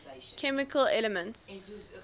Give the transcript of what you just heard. chemical elements